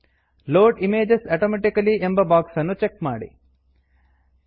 load images automatically load images automatically ಎಂಬ box ಅನ್ನು check ಮಾಡಿ